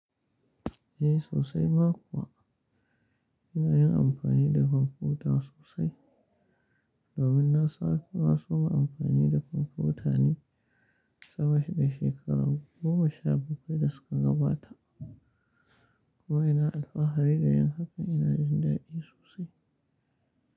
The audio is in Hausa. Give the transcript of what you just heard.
Eh sosai ma kuwa, ina yin amfani da kwamfuta sosai. Domin na saki na soma amfani da kwamfuta ne saboda shekaru goma sha bakwai da suka gabata. Ko ina alfahari da yin haka ina jin dadi sosai.